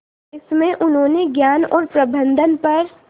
इसमें उन्होंने ज्ञान और प्रबंधन पर